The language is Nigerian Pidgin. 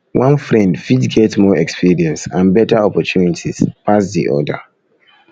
one friend fit get more experience and better opportunities pass di other